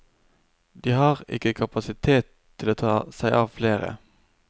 De har ikke kapasitet til å ta seg av flere.